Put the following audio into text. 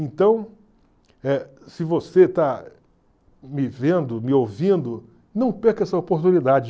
Então, se você está me vendo, me ouvindo, não perca essa oportunidade.